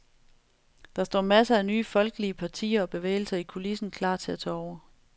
Der står masser af nye folkelige partier og bevægelser i kulissen klar til at tage over.